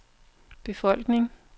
befolkning